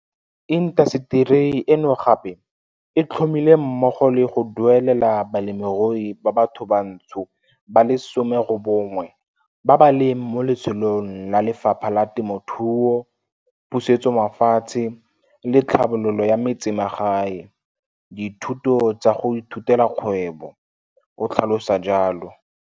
Intaseteri eno gape e tlhomile mmogo le go duelelela ba lemirui ba bathobantsho ba le 19 ba ba leng mo letsholong la Lefapha la Temothuo, Pusetsomafatshe le Tlhabololo ya Metsemagae dithuto tsa go ithutela kgwebo, o tlhalosa jalo.